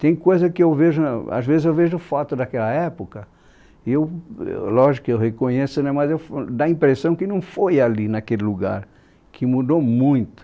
Tem coisa que eu vejo na, às vezes eu vejo foto daquela época e eu, ãh, lógico que eu reconheço né mas eu f, dá a impressão que não foi ali naquele lugar, que mudou muito.